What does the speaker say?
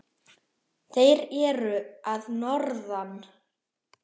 Þeir eru að norðan.